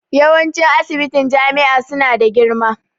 Yawanci ssibitin jami'a su na da girma